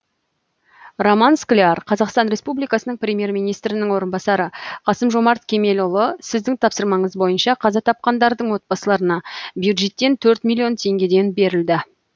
роман скляр қазақстан республикасының премьер министрінің орынбасары қасым жомарт кемелұлы сіздің тапсырмаңыз бойынша қаза тапқандардың отбасыларына бюджеттен төрт миллион теңгеден берілді